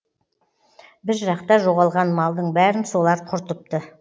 біз жақта жоғалған малдың бәрін солар құртыпты